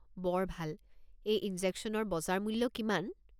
বৰ ভাল। এই ইনজেকশ্যনৰ বজাৰ মূল্য কিমান?